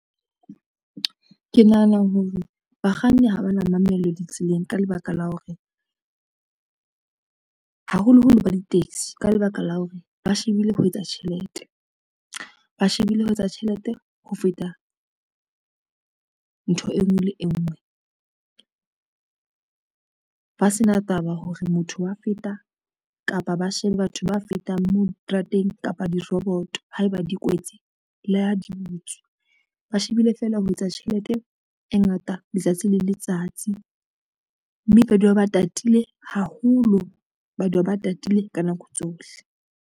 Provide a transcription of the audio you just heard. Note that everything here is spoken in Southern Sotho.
Ke nahana hore bakganni ha ba na mamello ditseleng, ka lebaka la hore, haholoholo ba di-taxi, ka lebaka la hore ba shebile ho etsa tjhelete, ba shebile ho etsa tjhelete ho feta ntho e ngwe le e ngwe. Ba sena taba hore motho wa feta kapa ba shebe batho ba fetang moo diterateng kapa diroboto haeba di kwetse la ha dibutswe, ba shebile fela ho etsa tjhelete e ngata letsatsi le letsatsi, mme ba dula ba tatile haholo, ba dula ba tatile ka nako tsohle.